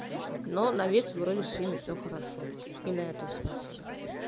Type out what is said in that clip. но на ведь вроде сегодня всё хорошо и на этом спасибо